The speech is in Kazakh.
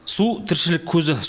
су тіршілік көзі